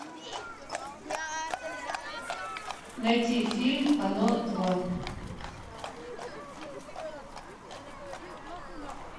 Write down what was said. найти фильм оно два